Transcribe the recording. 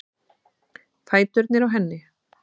Fæturnir á henni.